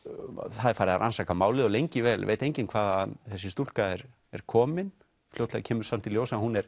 það er farið að rannsaka málið og lengi vel veit enginn hvaðan þessi stúlka er er komin fljótlega kemur samt í ljós að hún er